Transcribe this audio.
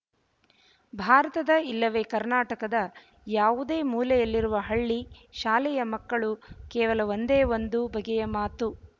ಭಾರತದ ಇಲ್ಲವೇ ಕರ್ನಾಟಕದ ಯಾವುದೇ ಮೂಲೆಯಲ್ಲಿರುವ ಹಳ್ಳಿ ಶಾಲೆಯ ಮಕ್ಕಳು ಕೇವಲ ಒಂದೇ ಒಂದು ಬಗೆಯ ಮಾತು